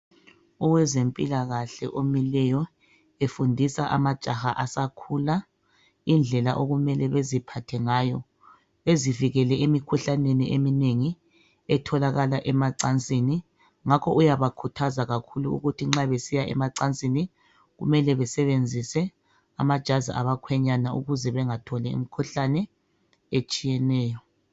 owezempilakahle omileyo efundisa amajaha asakhula indlela okumele beziphathe ngayo bezivikele emikhuhlaneni eminengi etholakala emacansini ngakho uyabakhuthaza kakhulu ukuthi nxa besiya emacansini kumele besebenzise amajazi abakhwenyana ukuze bengatholi imkhuhlane etshiyeneyo